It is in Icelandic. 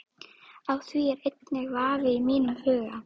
Á því er enginn vafi í mínum huga.